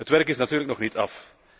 Het werk is natuurlijk nog niet af.